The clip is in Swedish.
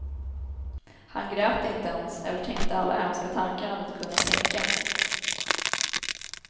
Han grät inte ens, eller tänkte alla hemska tankar han hade kunnat tänka.